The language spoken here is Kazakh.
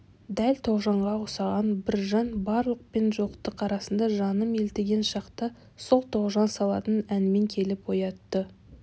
дәл тоғжанға ұқсаған бір жан барлық пен жоқтық арасында жаным елтіген шақта сол тоғжан салатын әнмен келіп оятты